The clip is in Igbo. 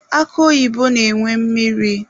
Akụ oyibo na-enwe mmiri.